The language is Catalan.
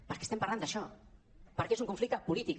perquè estem parlant d’això perquè és un conflicte polític